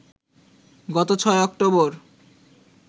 গত ৬ অক্টোবর